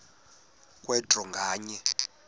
kwe draw nganye